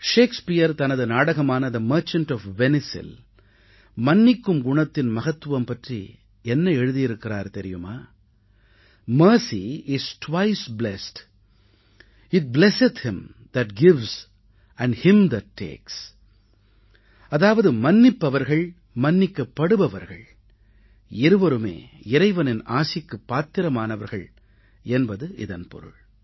Shakespeare தனது நாடகமான the merchant of வெனிசில் மன்னிக்கும் குணத்தின் மகத்துவம் பற்றி என்ன எழுதியிருக்கிறார் தெரியுமா mercy is twice blest it blesseth him that gives and him that takes அதாவது மன்னிப்பவர்கள் மன்னிக்கப்படுபவர்கள் இருவருமே இறைவனின் ஆசிக்குப் பாத்திரமானவர்கள் என்பது இதன் பொருள்